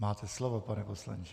Máte slovo, pane poslanče.